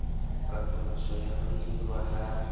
katoloso ya ho hirwa ha